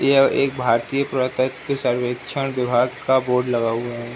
यह एक भारतीय पुरातत्व सर्वेक्षण विभाग का बोर्ड लगा हुआ है।